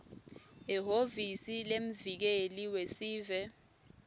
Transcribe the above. ehhovisi lemvikeli wesive